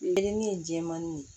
Wele ni ye jɛmannin ye